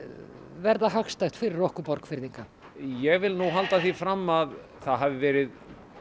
verða hagstætt fyrir okkur Borgfirðinga ég vil nú halda því fram að það hafi verið